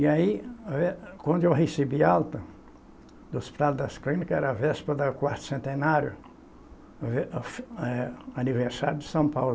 E aí, eh, quando eu recebi alta do Hospital das Clínicas, era a véspera do quarto centenário, vê eh, aniversário de São Paulo.